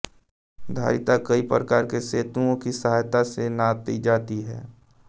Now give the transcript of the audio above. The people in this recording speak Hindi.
धारिता कई प्रकार के सेतुओं की सहायता से नापी जाती है